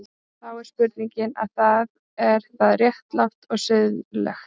Og þá er spurningin, er það, er það réttlátt og siðlegt?